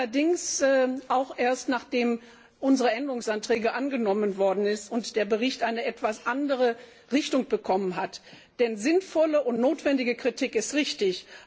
Allerdings auch erst, nachdem unsere Änderungsanträge angenommen worden sind und der Bericht eine etwas andere Richtung bekommen hat, denn sinnvolle und notwendige Kritik ist richtig.